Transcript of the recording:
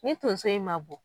Ni tonso in ma bɔ